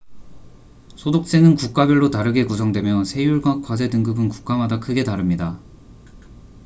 소득세는 국가별로 다르게 구성되며 세율과 과세 등급은 국가마다 크게 다릅니다